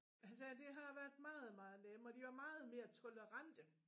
Han sagde det har været meget meget nem og de var meget mere tolerante